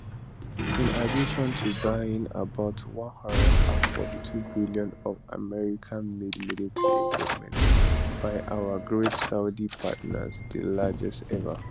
in addition to buying about 142billion of americanmade military equipment by our great saudi partners di largest ever